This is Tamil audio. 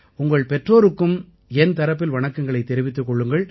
உங்கள் பெற்றோருக்கும் என் தரப்பில் வணக்கங்களைத் தெரிவித்துக் கொள்ளுங்கள்